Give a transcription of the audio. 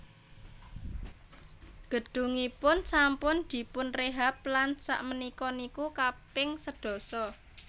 Gedungipun sampun dipunrehab lan sak menika niku kaping sedasa